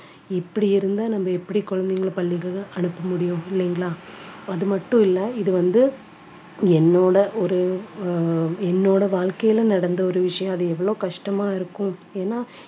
இப்படி இருந்தா நம்ம எப்படி குழந்தைகளை பள்ளிகளுக்கு அனுப்ப முடியும் இல்லைங்களா அது மட்டும் இல்லை இது வந்து என்னோட ஒரு அஹ் என்னோட வாழ்க்கையில நடந்த ஒரு விஷயம் அது எவ்வளவு கஷ்டமா இருக்கும் ஏன்னா